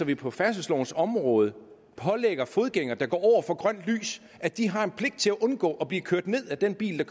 vi på færdselslovens område pålægger fodgængere der går over for grønt lys at de har en pligt til at undgå at blive kørt ned af den bil der